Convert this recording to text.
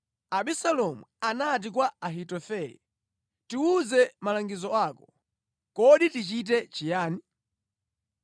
Abisalomu anati kwa Ahitofele, “Tiwuze malangizo ako. Kodi tichite chiyani?”